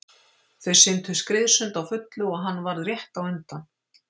Þau syntu skriðsund á fullu og hann varð rétt á undan.